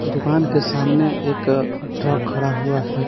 दुकान के सामने एक ट्रक खड़ा हुआ है।